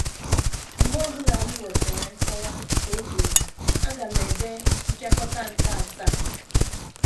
“ Mgbe ọ bụla m nwetara nkọwa, ” ka o kwuru, “ aga m ede Mpịakọta nke Asaa. ”